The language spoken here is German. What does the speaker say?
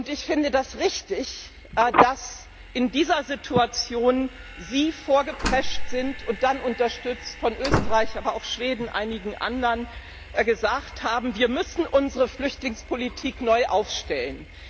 Ich finde das richtig, dass Sie in dieser Situation vorgeprescht sind und dann unterstützt von Österreich, aber auch Schweden und einigen anderen gesagt haben, wir müssen unsere Flüchtlingspolitik neu aufstellen.